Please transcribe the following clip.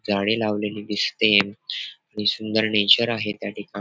झाडे लावलेली दिसते आणि सुंदर नेचर आहे त्या ठिका --